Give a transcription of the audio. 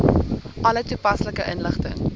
alle toepaslike inligting